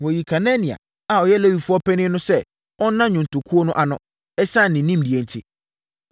Wɔyii Kenania a ɔyɛ Lewifoɔ panin no sɛ ɔnna nnwontokuo no ano, ɛsiane ne nimdeɛ enti.